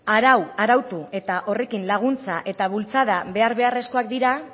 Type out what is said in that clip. arautu eta horrekin laguntza eta bultzada behar beharrezkoak dira